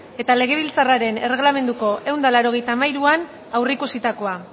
eta legebiltzarraren erregelamenduko ehun eta laurogeita hamairuean aurreikusitakoa